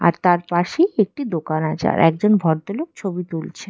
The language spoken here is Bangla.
আর তার পাশেই একটি দোকান আছে আর একজন ভদ্রলোক ছবি তুলছে।